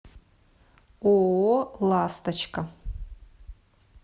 ооо ласточка